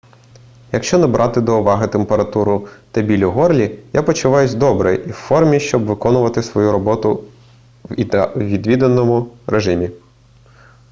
якщо не брати до уваги температуру та біль у горлі я почуваюся добре і в формі щоб виконувати свою роботу у віддаленому режимі